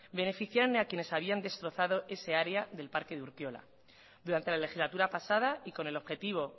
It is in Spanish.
beneficiaron a quienes habían destrozado ese área del parque de urkiola durante la legislatura pasada y con el objetivo